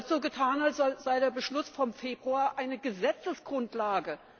Da wird so getan, als sei der Beschluss vom Februar eine Gesetzesgrundlage!